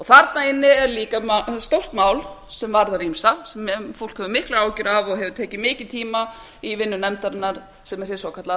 þarna inni er líka stórt mál sem varðar ýmsa sem fólk hefur miklar áhyggjur af og hefur tekið mikinn tíma í vinnu nefndarinnar sem er hið svokallaða